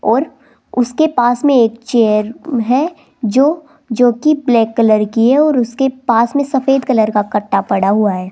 और उसके पास में एक चेयर है जो जोकि ब्लैक कलर की है और उसके पास में सफेद कलर का कट्टा पड़ा हुआ है।